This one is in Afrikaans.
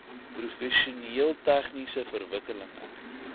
professioneel tegniese verwikkelinge